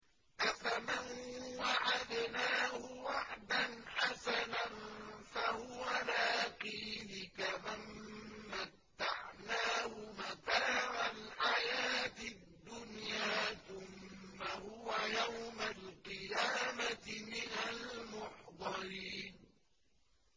أَفَمَن وَعَدْنَاهُ وَعْدًا حَسَنًا فَهُوَ لَاقِيهِ كَمَن مَّتَّعْنَاهُ مَتَاعَ الْحَيَاةِ الدُّنْيَا ثُمَّ هُوَ يَوْمَ الْقِيَامَةِ مِنَ الْمُحْضَرِينَ